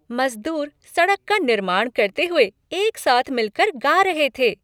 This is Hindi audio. मज़दूर सड़क का निर्माण करते हुए एक साथ मिल कर गा रहे थे।